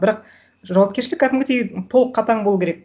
бірақ жауапкершілік кәдімгідей толық қатаң болу керек